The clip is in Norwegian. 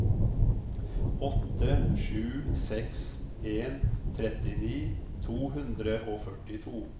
åtte sju seks en trettini to hundre og førtito